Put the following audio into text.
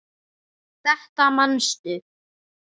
Þetta manstu.